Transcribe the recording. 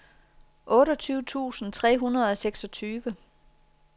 otteogtyve tusind tre hundrede og seksogtyve